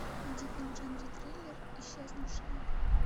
найди фильм в жанре триллер исчезнувшая